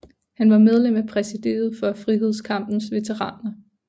Han var medlem af præsidiet for Frihedskampens Veteraner